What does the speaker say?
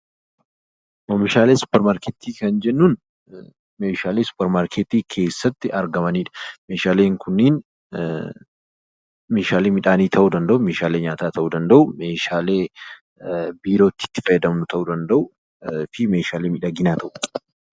oomishaalee suuparmarkeetii kan jennuun meeshaalee suuparmarkeetii keessatti argamanidha. meeshaaleen kunniin meeshaalee midhaanii ta'uu danda'u, meeshaalee nyaataa ta'uu danda'u, meeshaalee biirootti itti fayyadamnu ta'uu danda'u fi meeshaalee miidhaginaa ta'u.